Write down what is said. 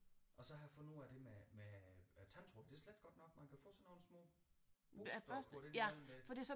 Og så har jeg fundet ud af det med med øh tandtråd det er slet ikke godt nok man kan få sådan nogle små børster at putte ind imellem ik